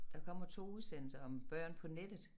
Der kommer 2 udsendelser om børn på nettet